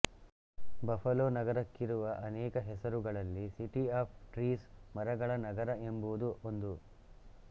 Buffalo ನಗರಕ್ಕಿರುವ ಅನೇಕ ಹೆಸರುಗಳಲ್ಲಿ ಸಿಟಿ ಆಫ್ ಟ್ರೀಸ್ ಮರಗಳ ನಗರ ಎಂಬುದೂ ಒಂದು